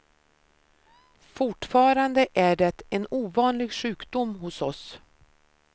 Fortfarande är det en ovanlig sjukdom hos oss.